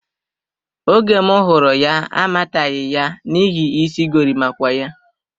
Oge m hụrụ ya, amataghi ya n'ihi isi gorimakwa ya.